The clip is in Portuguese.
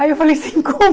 Aí eu falei assim, como